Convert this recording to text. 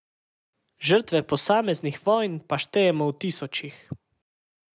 Žrtve posameznih vojn pa štejemo v tisočih.